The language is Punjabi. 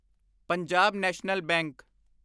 Punjab National bank